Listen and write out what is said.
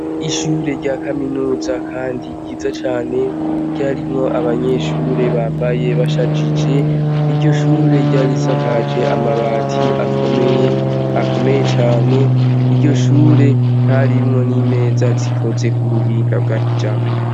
Ishure rya kaminuza kandi ryiza cane ryarimwo abanyeshure kandi bambaye bashajije. Iryoshure ryari risakaje amabati akomeye cane. Iryoshure ryarimwo n'imeza zikoze k'ubuhinga bwakijambere.